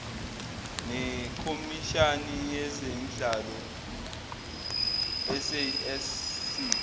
nekhomishani yezemidlalo sasc